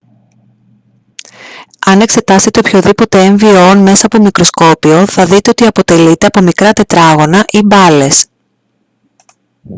αν εξετάσετε οποιοδήποτε έμβιο ον μέσα από μικροσκόπιο θα δείτε ότι αποτελείται από μικρά τετράγωνα ή μπάλες